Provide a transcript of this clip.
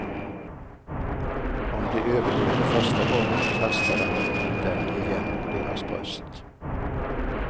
Om de överlevde första gången, kastade han den igen på deras bröst.